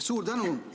Suur tänu!